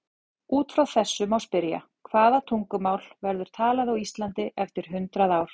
Út frá þessu má spyrja: Hvaða tungumál verður talað á Íslandi eftir hundrað ár?